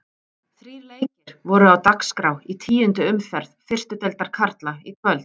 Þrír leikir voru á dagskrá í tíundu umferð fyrstu deildar karla í kvöld.